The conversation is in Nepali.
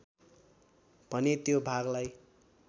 भने त्यो भागलाई